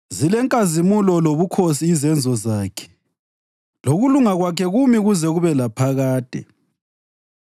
Zilenkazimulo lobukhosi izenzo zakhe, lokulunga Kwakhe kumi kuze kube laphakade.